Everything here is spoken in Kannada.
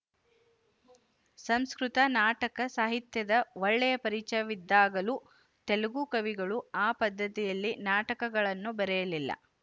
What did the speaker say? ಸಂಸ್ಕೃತ ನಾಟಕ ಸಾಹಿತ್ಯದ ಒಳ್ಳೆಯ ಪರಿಚಯವಿದ್ದಾಗಲೂ ತೆಲುಗು ಕವಿಗಳು ಆ ಪದ್ಧತಿಯಲ್ಲಿ ನಾಟಕಗಳನ್ನು ಬರೆಯಲಿಲ್ಲ